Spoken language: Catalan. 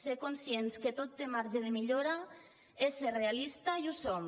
ser conscients que tot té marge de millora és ser realista i ho som